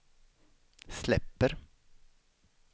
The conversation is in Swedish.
släpper